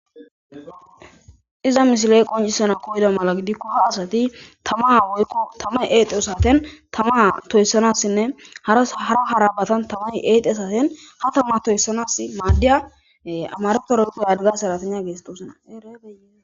Iza mishiley qoncisana koyda mala gidikko ha asati tama woykko tamay eexeo saten tama toyssanassinne harhara harabatan tamay eexe asaten ha tama toyssanas maaddiya amareta roqo adiga seratigna geestosona.